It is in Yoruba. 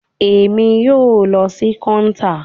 Emi yoo lọ si counter